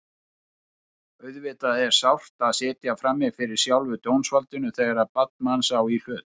Auðvitað er sárt að sitja frammi fyrir sjálfu dómsvaldinu þegar barn manns á í hlut.